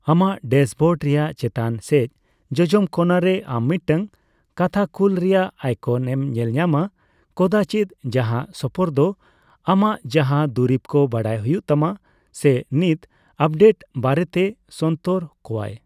ᱟᱢᱟᱜ ᱰᱮᱥᱵᱳᱰ ᱨᱮᱭᱟᱜ ᱪᱮᱛᱟᱱ ᱥᱮᱪ ᱡᱚᱡᱚᱢ ᱠᱚᱱᱟ ᱨᱮ, ᱟᱢ ᱢᱤᱫᱴᱟᱝ ᱠᱟᱛᱷᱟᱠᱩᱞ ᱨᱮᱭᱟᱜ ᱟᱭᱠᱚᱱ ᱮᱢ ᱧᱮᱞ ᱧᱟᱢᱟ (ᱠᱚᱫᱟᱪᱤᱫ) ᱡᱟᱦᱟᱸ ᱥᱚᱯᱟᱨᱫᱚ ᱟᱢᱟᱜ ᱡᱟᱦᱟᱸ ᱫᱩᱨᱤᱵᱠᱚ ᱵᱟᱰᱟᱭ ᱦᱩᱭᱩᱜ ᱛᱟᱢᱟ ᱥᱮ ᱱᱤᱛ ᱟᱯᱰᱮᱴ ᱠᱚ ᱵᱟᱨᱮᱛᱮ ᱥᱚᱱᱛᱚᱨ ᱠᱚᱣᱟᱭ ᱾